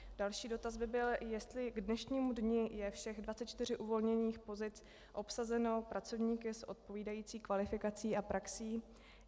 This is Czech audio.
Další dotaz by byl, jestli k dnešnímu dni je všech 24 uvolněných pozic obsazeno pracovníky s odpovídající kvalifikací a praxí.